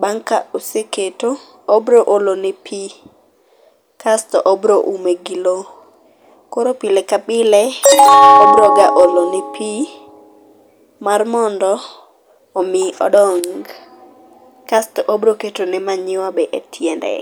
bang ka oseketo obro olo ne pii kasto obro ume gi loo. Koro pile ka pile obro olone pii mar mondo odong, kasto obro ketone manyiwa e tiende